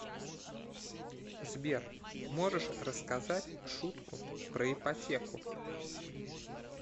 сбер можешь рассказать шутку про ипотеку